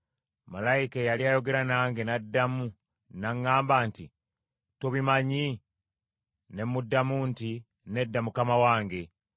Malayika eyali ayogera nange n’addamu n’aŋŋamba nti, “Tobimanyi?” Ne muddamu nti, “Nedda mukama wange.”